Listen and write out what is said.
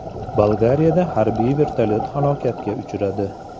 Bolgariyada harbiy vertolyot halokatga uchradi.